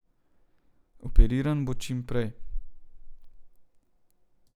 Operiran bo čim prej.